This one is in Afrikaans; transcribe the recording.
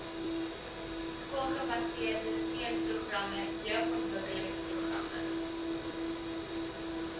skoolgebaseerde steunprogramme jeugontwikkelingsprogramme